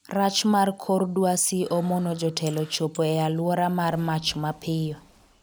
rach mar kor dwasi omono jotelo chopo e alwora mar mach mapiyo